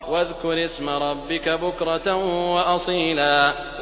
وَاذْكُرِ اسْمَ رَبِّكَ بُكْرَةً وَأَصِيلًا